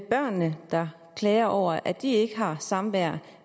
børnene der klager over at de ikke har samvær